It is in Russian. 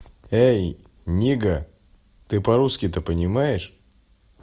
эй нига ты по-русски то понимаешь